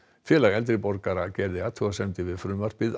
félag eldri borgara gerði athugasemdir við frumvarpið